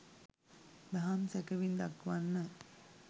දහම් සැකැවින් දක්වන්න.